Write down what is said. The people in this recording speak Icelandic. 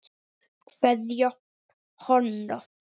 Kveðja, Hanna.